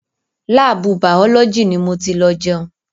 Láàbù bàọ́lójì ni mo ti lọ jẹun.